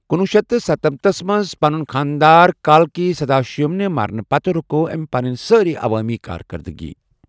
کنۄہ شیتھ ستنمتَس منٛز پنِنہِ خانٛدار کالکی سداشیوم نہِ مرنہٕ پتہٕ رُکٲوۍ أمۍ پنٕنۍ سٲری عوٲمی کارکَردٕگیہِ ۔